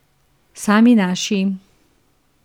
Sami naši.